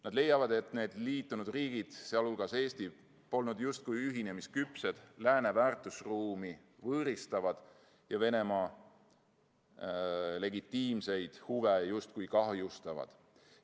Nad leiavad, et liitunud riigid, sh Eesti, polnud justkui ühinemisküpsed, on lääne väärtusruumi võõristavad ja Venemaa legitiimseid huve justkui kahjustavad.